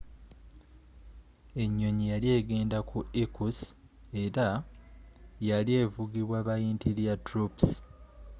enyonyi yali egenda ku irkutsk era yali evugibwa ba interior troops